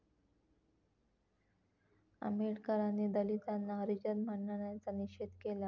आंबेडकरांनी दलितांना हरिजन म्हणण्याचा निषेध केला